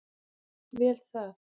Vel það.